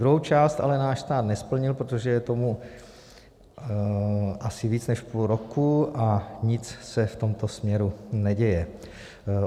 Druhou část ale náš stát nesplnil, protože je tomu asi víc než půl roku a nic se v tomto směru neděje.